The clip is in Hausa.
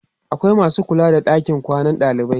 akwai masu kula da ɗakin kwana na dalibai